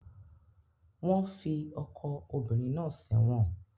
Wọ́n fi ọkọ obìnrin náà sẹ́wọ̀n